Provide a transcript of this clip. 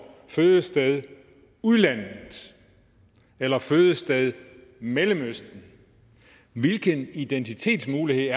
fødested udlandet eller fødested mellemøsten hvilken identitetsmulighed